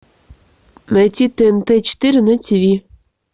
найти тнт четыре на тв